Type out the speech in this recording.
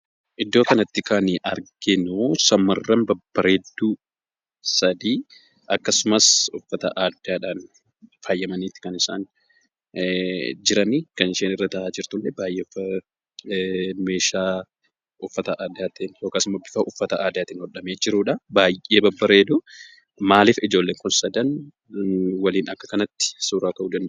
Iddoo kanatti kan nuti arginuu shamarran babbareedduu akkasumas uffata aadaa dhaan faayyamnii kan isaan jiranii, akkasumas baayyee babbareedu. Maaliif ijoolleen Kun sadan akkanatti suuraa ka'uu danda'an?